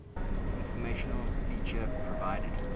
informational feature provided